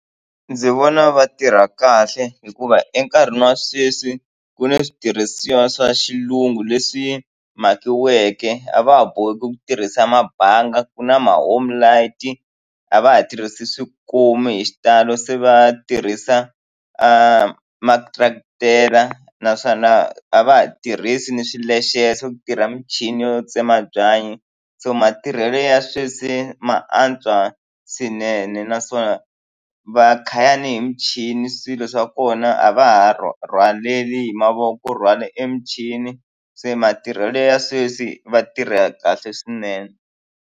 Ndzi vona va tirha kahle hikuva enkarhini wa sweswi ku ni switirhisiwa swa xilungu leswi mhakiweke a va ha boheki ku tirhisa mabanga ku na ma homelight a va ha tirhisi swikomu hi xitalo se va tirhisa ma tractor naswona a va ha tirhisi ni swilexeni se ku tirha michini yo tsema byanyi so matirhelo ya sweswi ma antswa swinene naswona va khaya ni hi michini swilo swa kona a va ha rhwaleli hi mavoko ku rhwale emichini se matirhelo ya sweswi va tirha kahle swinene.